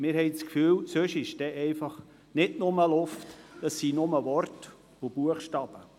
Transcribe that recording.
Wir haben das Gefühl, es werde sonst nicht nur Luft sein, sondern nur Worte und Buchstaben.